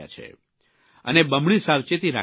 અને બમણી સાવચેતી રાખી રહ્યા છે